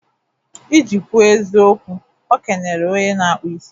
Iji kwuo nke bu eziokwu, okenere onye na-akpụ isi.